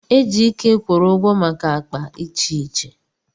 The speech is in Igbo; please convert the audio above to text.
Ejike kwụrụ ụgwọ maka akpa iche iche.